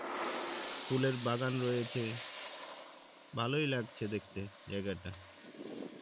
ফুলের বাগান রয়েছে ভালোই লাগছে দেখতে জায়গাটা